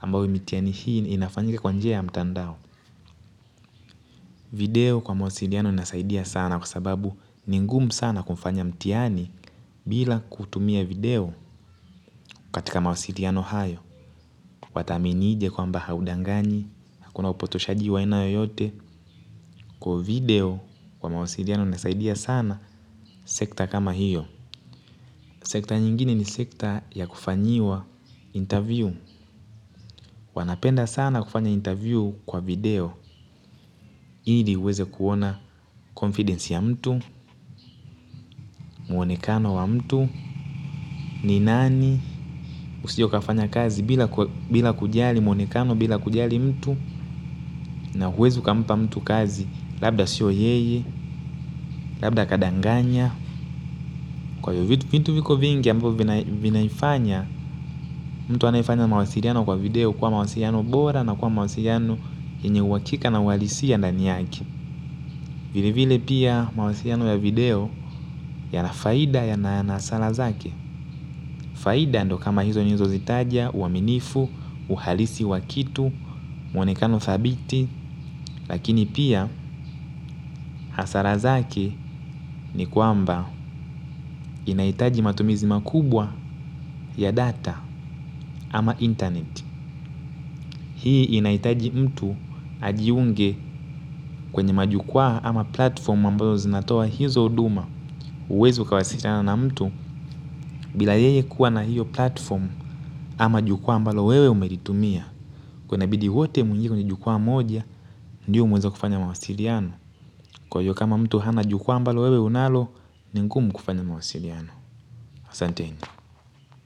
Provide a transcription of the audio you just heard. ambao mitihani hii inafanyika kwa njka mtandao. Video kwa mawasiliano inasaidia sana kwa sababu ni ngumu sana kufanya mtihani bila kutumia video katika mawasiliano hayo. Wataminije kwamba haudanganyi, hakuna upotoshaji wa aina yoyote kwa video kwa mawasiliano inasaidia sana sekta kama hiyo. Sekta nyingine ni sekta ya kufanyiwa interview. Wanapenda sana kufanya interview kwa video. Ili uweze kuona confidence ya mtu, muonekano wa mtu ni nani usio ukafanya kazi bila kujali muonekano bila kujali mtu. Na huwezi ukampa mtu kazi labda sio yeye, labda kadanganya. Kwa hiyo vitu viko vingi ambavyo vinaifanya mtu anayefanya mawasiliano kwa video kuwa mawasiliano bora na kuwa mawasiliano yenye uhakika na uwalisia ndani yake. Vili vile pia mawasiliano ya video yana faida yana hasara zake. Faida ndio kama hizo nilizozitaja, uaminifu, uhalisi wa kitu, mwonekano thabiti. Lakini pia hasara zake ni kwamba inahitaji matumizi makubwa ya data ama internet. Hii inahitaji mtu ajiunge kwenye majukua ama platform ambazo zinatoa hizo huduma huwezi ukawasiliana na mtu. Bila yeye kuwa na hiyo platform. Ama jukua ambalo wewe umelitumia. Kwa hiyo inabidi wote muingie kwenye jukua moja ndiyo muweze kufanya mawasiliano. Kwa hiyo kama mtu hana jukua ambalo wewe unalo. Ni ngumu kufanya mawasiliano. Asanteni.